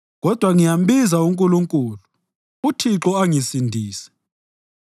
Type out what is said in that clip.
Kodwa ngiyambiza uNkulunkulu, uThixo angisindise.